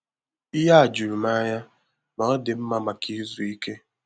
Ihe a juru m anya, ma ọ dị mma maka izu ìké